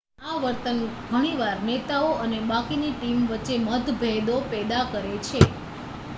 આ વર્તન ઘણી વાર નેતાઓ અને બાકીની ટીમ વચ્ચે મતભેદો પેદા કરે છે